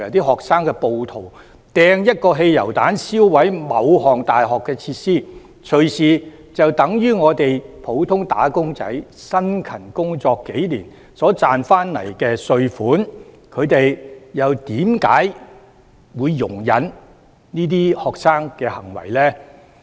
學生暴徒投擲一個汽油彈燒毀大學的某項設施，隨時就等於普通"打工仔"辛勤工作數年所賺取的稅款，他們為何會容忍這些學生的行為呢？